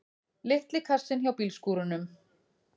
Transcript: Litli kassinn hjá bílskúrunum!